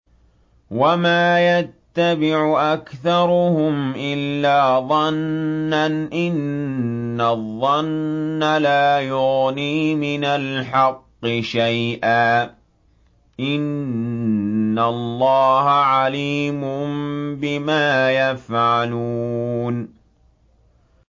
وَمَا يَتَّبِعُ أَكْثَرُهُمْ إِلَّا ظَنًّا ۚ إِنَّ الظَّنَّ لَا يُغْنِي مِنَ الْحَقِّ شَيْئًا ۚ إِنَّ اللَّهَ عَلِيمٌ بِمَا يَفْعَلُونَ